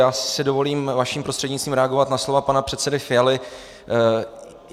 Já si dovolím vaším prostřednictvím reagovat na slova pana předsedy Fialy.